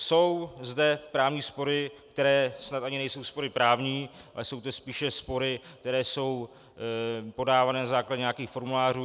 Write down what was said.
Jsou zde právní spory, které snad ani nejsou spory právní, ale jsou to spíše spory, které jsou podávané na základě nějakých formulářů.